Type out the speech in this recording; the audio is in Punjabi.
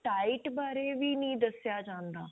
diet ਬਾਰੇ ਵੀ ਨਹੀਂ ਦੱਸਿਆਂ ਜਾਂਦਾ